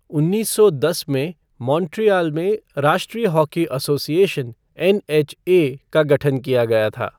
उन्नीस सौ दस में, मॉन्ट्रियल में राष्ट्रीय हॉकी एसोसिएशन, एनएचए का गठन किया गया था।